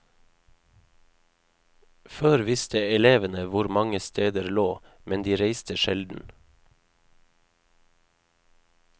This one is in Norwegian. Før visste elevene hvor mange steder lå, men de reiste sjelden.